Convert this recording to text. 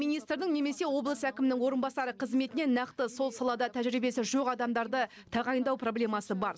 министрдің немесе облыс әкімінің орынбасары қызметіне нақты сол салада тәжірибесі жоқ адамдарды тағайындау проблемасы бар